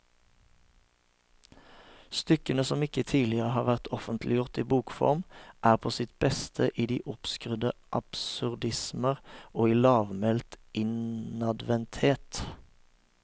Stykkene, som ikke tidligere har vært offentliggjort i bokform, er på sitt beste i de oppskrudde absurdismer og i lavmælt innadvendthet.